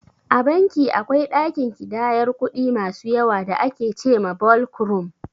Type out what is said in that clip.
A banki akwai ɗakin ƙidayar kuɗi masu yawa da ake ce ma "Ɓolk Rum"